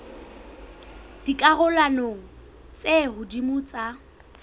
dikarolong tse ka hodimo tsa